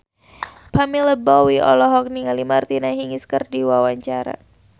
Pamela Bowie olohok ningali Martina Hingis keur diwawancara